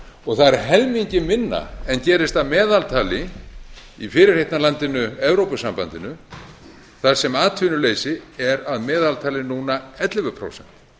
og það er helmingi minna en gerist að meðaltali í fyrirheitna landinu evrópusambandinu þar sem atvinnuleysi er að meðaltali núna ellefu prósent